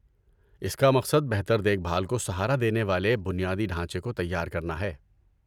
اس کا مقصد بہتر دیکھ بھال کو سہارا دینے والے بنیادی ڈھانچے کو تیار کرنا ہے۔